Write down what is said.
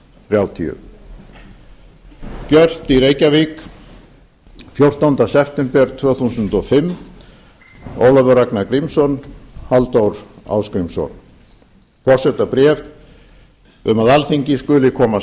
þrjátíu gjört í reykjavík fjórtánda september tvö þúsund og fimm ólafur ragnar grímsson halldór ásgrímsson forsetabréf um að alþingi skuli koma